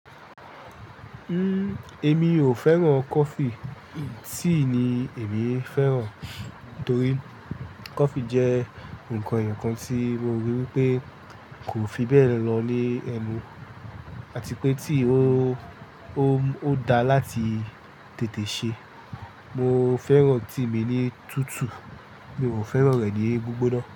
Uhm, èmi ò fẹ́ràn coffee. Tea ni èmi fẹ́ràn torí coffee jẹ́ ǹkan èyàn kan tí mo rí wípé kò fi bẹ́ẹ̀ lọ ní ẹnu àti pé tí ó, ó dáa láti tètè ṣe. Mo fẹ́ràn tea mi ní tutù, mi ò fẹ́ràn rẹ̀ ní gbígbóná.